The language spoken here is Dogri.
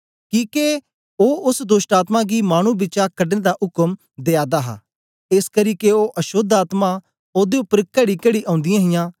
किके ओ ओस दोष्टआत्मा गी मानु बिचा कढने दा उक्म दया दा हा एसकरी के ओ अशोद्ध आत्मा ओदे उपर कड़ीकड़ी औंदीयां हियां